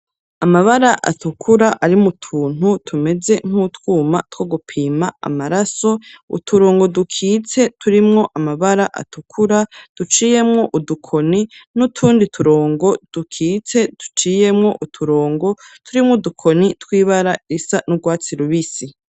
Amabara atukura ari mu tuntu tumeze nk'utwuma two gupima amaraso uturongo dukitse turimwo amabara atukura duciyemwo udukoni n'utundi turongo dukitse duciyemwo uturongo turimwo udukoni tw'ibara risa n'urwatsi rubisi.